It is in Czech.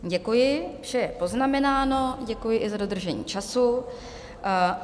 Děkuji, vše je poznamenáno, děkuji i za dodržení času.